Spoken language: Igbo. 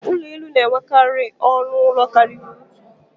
Ụlọ elu na-enwekarị ọnụ ụlọ karịrị otu.